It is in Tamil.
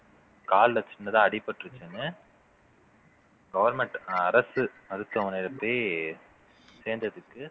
கால்ல சின்னதா அடிபட்டுருச்சுன்னு government அரசு மருத்துவமனையில போயி சேர்ந்ததுக்கு